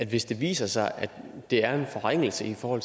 hvis det viser sig at det er en forringelse for